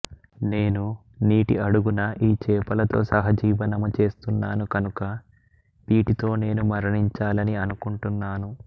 నేను నీటి అడుగున ఈ చేపలతో సహజీవనము చేస్తున్నాను కనుక వీటితో నేను మరణించాలని అనుకుంటున్నాను